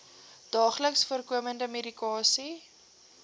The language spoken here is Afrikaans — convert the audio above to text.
daagliks voorkomende medikasie